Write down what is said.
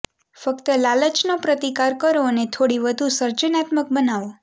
ફક્ત લાલચનો પ્રતિકાર કરો અને થોડી વધુ સર્જનાત્મક બનાવો